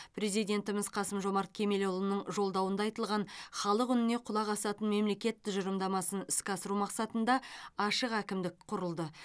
президентіміз қасым жомарт кемелұлының жолдауында айтылған халық үніне құлақ асатын мемлекет тұжырымдамасын іске асыру мақсатында ашық әкімдік құрылды